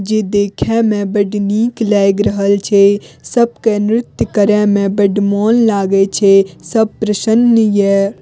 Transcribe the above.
जे देखे में बड़ निक लाएग रहल छै सबके नृत्य करे में बड़ मोन लागे छै सब प्रसन्न ये।